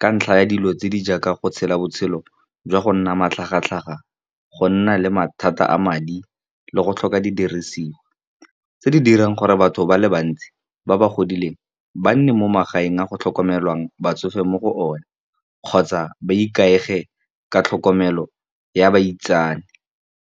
ka ntlha ya dilo tse di jaaka go tshela botshelo jwa go nna matlhagatlhaga, go nna le mathata a madi le go tlhoka didiriswa tse di dirang gore batho ba le bantsi, ba ba godileng ba nne mo magaeng a go tlhokomelwang batsofe mo go o ne. Kgotsa ba ikaegile ka tlhokomelo ya baitsane.